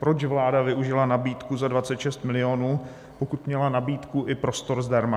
Proč vláda využila nabídku za 26 milionů, pokud měla nabídku i prostor zdarma?